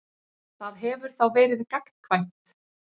Það hefur þá verið gagnkvæmt.